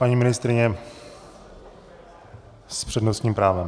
Paní ministryně s přednostním právem.